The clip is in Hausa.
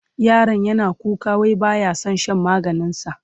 Yaron yana kuka wai ba ya son shan maganinsa.